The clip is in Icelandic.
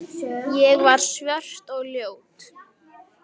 Ég var svört og ljót.